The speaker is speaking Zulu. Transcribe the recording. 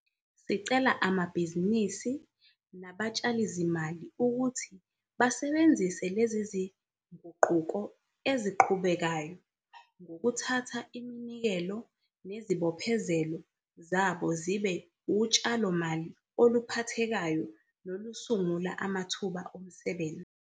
Sicela amabhizinisi nabatshalizimali ukuthi basebenzise lezi zinguquko eziqhubekayo ngokuthatha iminikelo nezibophezelo zabo zibe utshalomali oluphathekayo nolusungula amathuba emisebenzi.